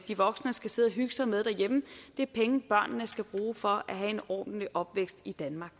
de voksne skal sidde at hygge sig med derhjemme det er penge som børnene skal bruge for at have en ordentlig opvækst i danmark